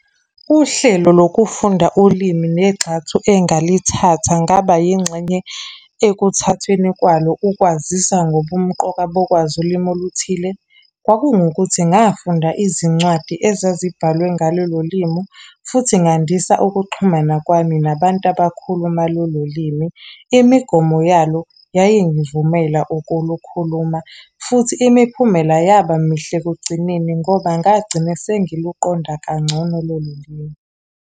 Uhlelo lokufunda ulimi negxathu engalithatha ngaba yingxenye ekuthathweni kwalo, ukwazisa ngobumqoka bokwazi ulimu oluthile. Kwakungukuthi ngafunda izincwadi ezazibhalwe ngalolu limi. Futhi ngandisa ukuxhumana kwami nabantu abakhuluma lolo limi. Imigomo yalo, yayingivumela ukulukhuluma, futhi imiphumela yaba mihle ekugcineni ngoba ngagcina sengiluqonda kangcono lolu limi.